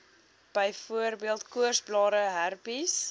byvoorbeeld koorsblare herpes